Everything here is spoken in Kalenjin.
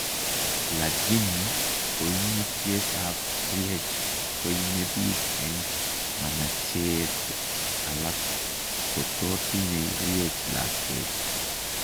Lagini koimutyet ab Rh koimebiik eng' manacheet alak koto tinye Rh lakwet